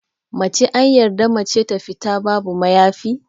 Mace anyarda mata ta fita babu mayafi?